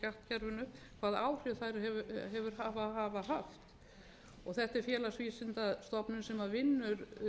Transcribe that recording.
hafi orðið á skattkerfinu hvaða áhrif þær hafa haft og það sé félagsvísindastofnun sem vinnur